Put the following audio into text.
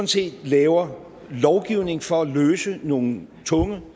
set laver lovgivning for at løse nogle tunge